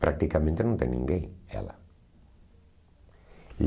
Praticamente não tem ninguém, ela.